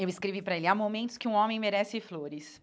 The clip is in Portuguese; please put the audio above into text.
Eu escrevi para ele, há momentos que um homem merece flores.